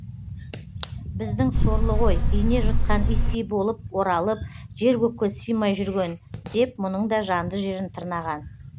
біздің сорлы ғой ине жұтқан иттей болып оралып жер көкке сыймай жүрген деп мұның да жанды жерін тырнаған